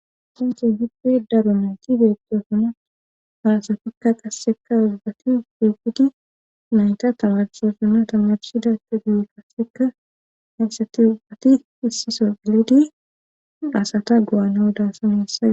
Ha sinthen hidde daro mayti beettoosana haasatikka qasseka uzbati wifidi nayta tamarshoosana tamarchida ka guy kasseka heessati ubbati issiso pilidi asata go7ana o daassa neessae.